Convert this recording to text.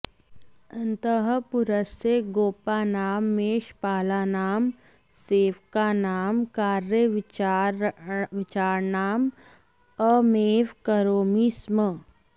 अन्तः पुरस्य गोपानां मेषपालानां सेवकानां कार्यविचारणाम् अहमेव करोमि स्म